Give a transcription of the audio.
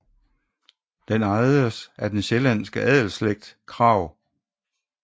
Den ejedes af den sjællandske adelsslægt Krag